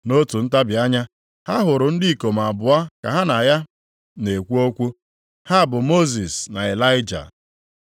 Nʼotu ntabi anya, ha hụrụ ndị ikom abụọ ka ha na ya na-ekwu okwu. Ha bụ Mosis na Ịlaịja.